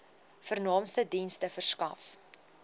vernaamste dienste verskaf